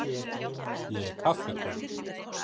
Ég er kaffikona.